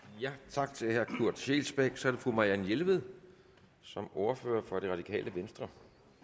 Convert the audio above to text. tak til herre kurt scheelsbeck så er det fru marianne jelved som ordfører for det radikale venstre